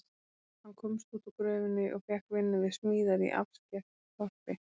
Hann komst út úr gröfinni og fékk vinnu við smíðar í afskekktu þorpi.